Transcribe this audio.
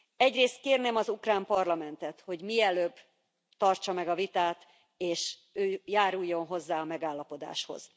Egyrészt kérnem az ukrán parlamentet, hogy mielőbb tartsa meg a vitát, és ő járuljon hozzá a megállapodáshoz.